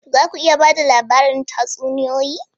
Za ku iya ba da labarin tatsuniyoyi?